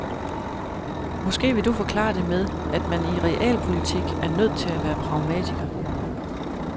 Måske vil du forklare det med, at man i realpolitik er nødt til at være pragmatiker.